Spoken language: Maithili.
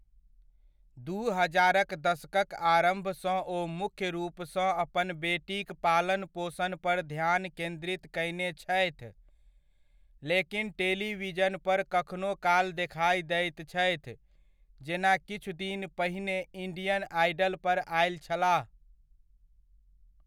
दू हजारक दशकक आरम्भसँ ओ मुख्य रूपसँ अपन बेटीक पालन पोषण पर ध्यान केन्द्रित कयने छथि, लेकिन टेलीविजन पर कखनो काल देखाइ दैत छथि जेना किछु दिन पहिने इण्डियन आइडल पर आयल छलाह।